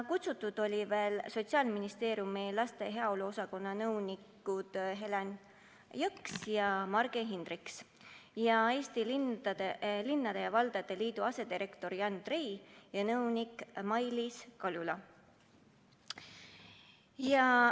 Kutsutud olid veel Sotsiaalministeeriumi laste heaolu osakonna nõunikud Helen Jõks ja Marge Hindriks ning Eesti Linnade ja Valdade Liidu asedirektor Jan Trei ja nõunik Mailiis Kaljula.